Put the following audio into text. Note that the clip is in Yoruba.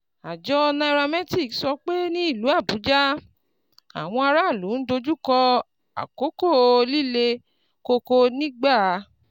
Àjọ nairametrics sọ pé ní ìlú Abuja, àwọn aráàlú ń dojú kọ àkókò líle koko nígbà